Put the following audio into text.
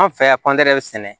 An fɛ yan sɛnɛ